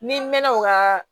Ni n mɛn'o ka